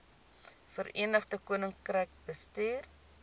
verenigde koninkryk bestuur